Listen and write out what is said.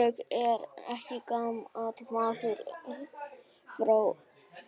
Ég er ekki gamli maðurinn frá